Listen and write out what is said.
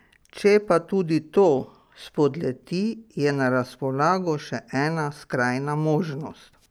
Če pa tudi to spodleti, je na razpolago še ena skrajna možnost.